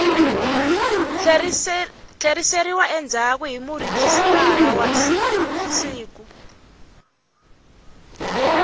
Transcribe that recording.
tlheriseriwa endzhaku hi murhijisitara siku